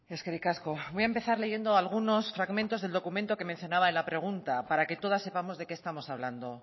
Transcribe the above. eskerrik asko voy a empezar leyendo algunos fragmentos del documento que mencionaba en la pregunta para que todas sepamos de qué estamos hablando